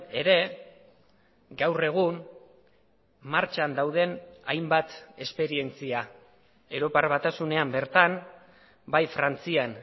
ere gaur egun martxan dauden hainbat esperientzia europar batasunean bertan bai frantzian